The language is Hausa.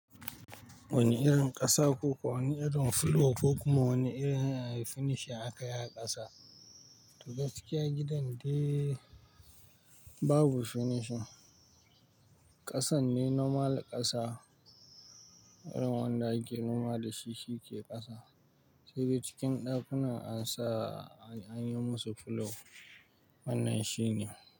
Wane irin ƙasa ko kuwa, wane irin fulo ko kuma wane irin finishing aka yi a ƙasa? To gaskiya gidan dai babu finishing. Ƙasan ne normal ƙasa, irin wanda ake noma da shi shi ke ƙasa sai dai cikin ɗakunan an sa an yi musu fulo. Wannan shi ne.